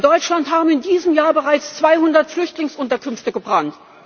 In Deutschland haben in diesem Jahr bereits 200 Flüchtlingsunterkünfte gebrannt.